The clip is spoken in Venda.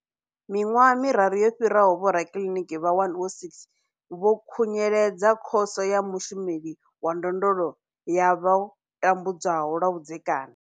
Miṅwaha miraru yo fhiraho, vhorakiliniki vha 106 vho khunyeledza Khoso ya Mushumeli wa Ndondolo ya vho tambudzwaho lwa vhudzekani.